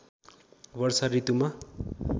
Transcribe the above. वर्षा ऋतुमा